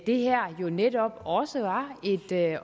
det her jo netop også var et